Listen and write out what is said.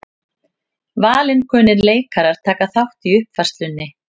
Valinkunnir leikarar taka þátt í uppfærslunni